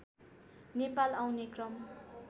नेपाल आउने क्रम